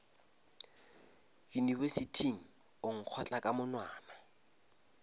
yunibesithing o nkgotla ka monwana